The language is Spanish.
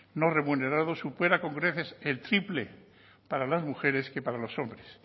no remunerado supera con creces el triple para las mujeres que para los hombres